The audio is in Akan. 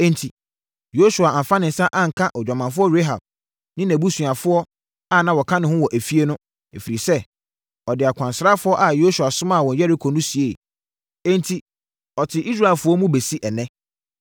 Enti, Yosua amfa ne nsa anka odwamanfoɔ Rahab ne nʼabusuafoɔ a na wɔka ne ho wɔ efie no, ɛfiri sɛ, ɔde akwansrafoɔ a Yosua somaa wɔn Yeriko no sieeɛ. Enti, ɔte Israelfoɔ mu bɛsi ɛnnɛ.